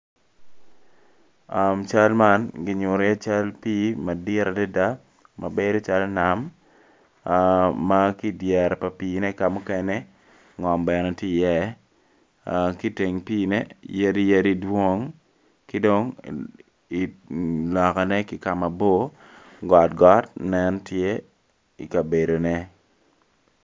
Cal man kinyuto iye cal pii madit adada mabedo calo nam ma ki i dyere pa piine ka mukene ngom bene tye iye ki i teng piine yadi yadi dwong ki dong i lokane ki ka mabor gotogot nen tye i kabedone.